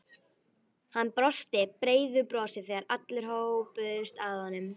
Hann brosti breiðu brosi þegar allir hópuðust að honum.